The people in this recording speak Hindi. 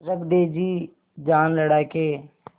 रख दे जी जान लड़ा के